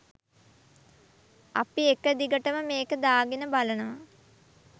අපි එක දිගටම මේක දාගෙන බලනවා